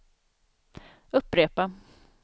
upprepa